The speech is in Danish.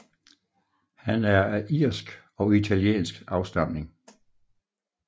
Han er af irsk og italiensk afstamning